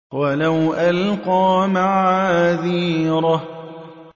وَلَوْ أَلْقَىٰ مَعَاذِيرَهُ